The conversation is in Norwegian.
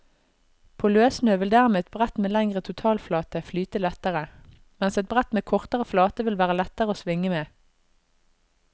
På løssnø vil dermed et brett med lengre totalflate flyte lettere, mens et brett med kortere flate vil være lettere å svinge med.